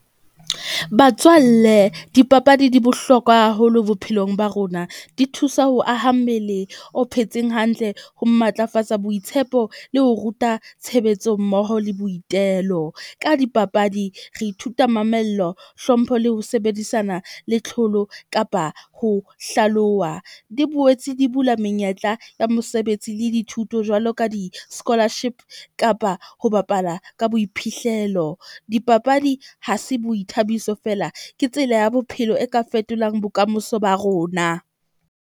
Batswalle dipapadi di bohlokwa haholo bophelong ba rona. Di thusa ho aha mmele o phetseng hantle, ho matlafatsa boitshepo le ho ruta tshebetso mmoho le boitelo. Ka dipapadi re ithuta mamello, hlompho le ho sebedisana le tlholo, kapa ho hlaloha. Di boetse di bula menyetla ya mosebetsi le dithuto jwalo ka di-scholarship kapa ho bapala ka boiphihlelo. Dipapadi ha se boithabiso feela, ke tsela ya bophelo e ka fetolang bokamoso ba rona.